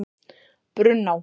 Brunná